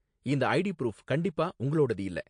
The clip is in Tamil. இந்த ஐடி ப்ரூஃப் கண்டிப்பா உங்களோடது இல்ல